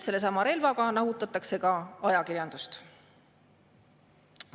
Sellesama relvaga nahutatakse ka ajakirjandust.